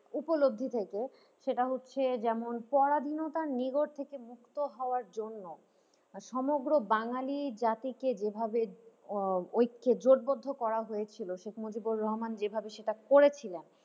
উপলব্ধি থেকে সেটা হচ্ছে যেমন পরাধীনতার নিগড় থেকে মুক্ত হওয়ার জন্য সমগ্র বাঙালি জাতিকে যেভাবে উম ঐক্যে জোটবদ্ধ করা হয়েছিল শেখ মুজিবুর রহমান যেভাবে সেটা করেছিলেন।